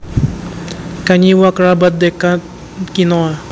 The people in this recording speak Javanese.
Kanyiwa kerabat dekatkinoa